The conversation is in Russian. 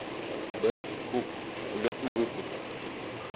бест куб улетный выпуск